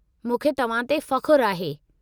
मूंखे तव्हां ते फ़खु़रु आहे।